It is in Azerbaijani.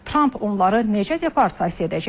Tramp onları necə deportasiya edəcək?